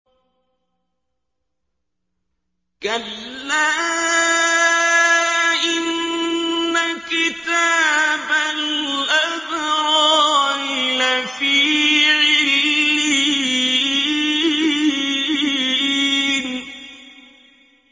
كَلَّا إِنَّ كِتَابَ الْأَبْرَارِ لَفِي عِلِّيِّينَ